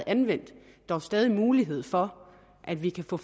anvendt dog stadig mulighed for at vi kan få